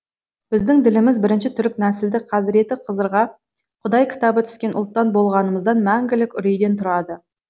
біздің діліміз бірінші түрік нәсілді қазіреті қызырға құдай кітабы түскен ұлттан болғанымыздан мәңгілік үрейден тұрады